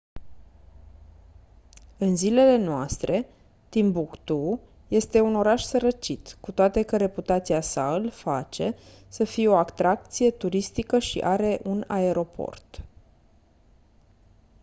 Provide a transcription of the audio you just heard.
în zilele noastre timbuktu este un oraș sărăcit cu toate că reputația sa îl face să fie o atracție turistică și are un aeroport